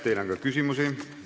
Teile on ka küsimusi.